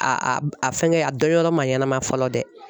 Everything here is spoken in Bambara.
A a fɛngɛ a dɔnyɔrɔ ma ɲɛnama fɔlɔ dɛ